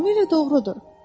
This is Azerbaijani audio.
Tamamilə doğrudur.